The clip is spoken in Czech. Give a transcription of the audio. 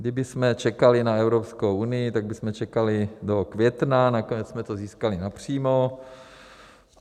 Kdybychom čekali na Evropskou unii, tak bychom čekali do května, nakonec jsme to získali napřímo.